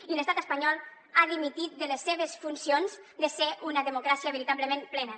i l’estat espanyol ha dimitit de les seves funcions de ser una democràcia veritablement plena